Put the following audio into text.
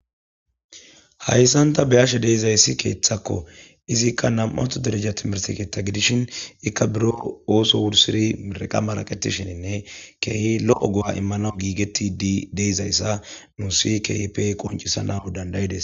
Hayissan ta beyashshe dizayissi keththakko izikka nam"anththo dereja timirte keththa gidishin ezika oththo wursidi mereqa maraqetishshenne kehi lo go'a imanaw gigetidi de'izayssa nus kehippe qoncisanas dandayides